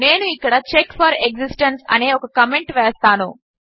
నేను ఇక్కడ check for existence అనే ఒక కామెంట్ వేస్తాను